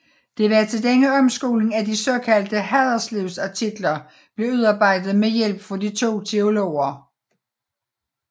Det var til denne omskoling at de såkaldte Haderslevartikler blev udarbejdet med hjælp fra de to teologer